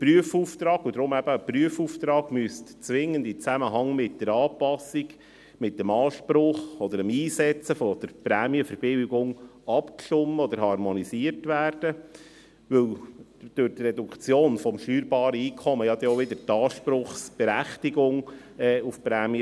Der Prüfauftrag – deshalb ist es ein Prüfauftrag – müsste zwingend im Zusammenhang mit dem Einsetzen der Prämienverbilligung harmonisiert werden, weil die Reduktion des steuerbaren Einkommens wiederum einen Einfluss auf die Anspruchsberechtigung hätte.